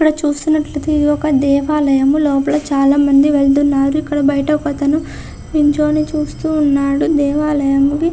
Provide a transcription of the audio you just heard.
ఇక్కడ చూస్తునట్టయితే ఇదొక దేవాలయము. లోపల చాలా మంది వెళ్తున్నారు. ఇక్కడ బయట ఒకతను నించుని చూస్తూ ఉన్నాడు. దేవలయముకి--